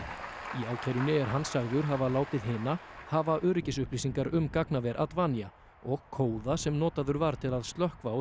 í ákærunni er hann sagður hafa látið hina hafa um gagnaver og kóða sem notaður var til að slökkva á